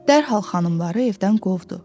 dərhal xanımları evdən qovdu.